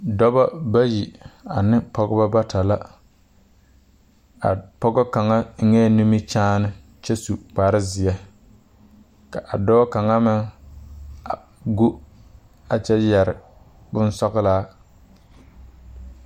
Dɔbɔ bayi ne pɔgebɔ bata la, a pɔge kaŋa eŋee nimikyaane kyɛ yɛre kpare zeɛ ka a dɔɔ kaŋa meŋ go kyɛ yɛre boŋsɔgglaa.